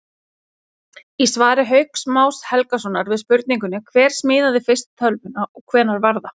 Í svari Hauks Más Helgasonar við spurningunni Hver smíðaði fyrstu tölvuna og hvenær var það?